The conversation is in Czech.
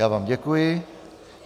Já vám děkuji.